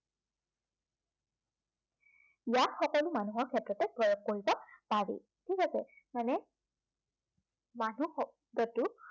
ইয়াত সকলো মানুহৰ ক্ষেত্ৰতে প্ৰয়োগ কৰিব পাৰি। ঠিক আছে। মানে মানুহ শব্দটো